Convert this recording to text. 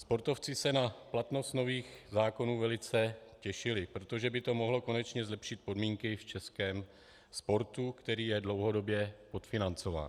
Sportovci se na platnost nových zákonů velice těšili, protože by to mohlo konečně zlepšit podmínky v českém sportu, který je dlouhodobě podfinancován.